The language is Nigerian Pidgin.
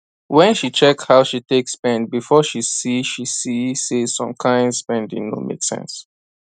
when she check how she take spend before she see she see say some kyn spending no make sense